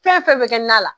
Fɛn fɛn bɛ kɛ na la